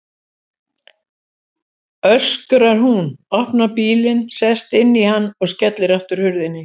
öskrar hún, opnar bílinn, sest inn í hann og skellir aftur hurðinni.